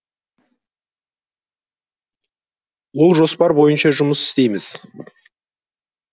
ол жоспар бойынша жұмыс істейміз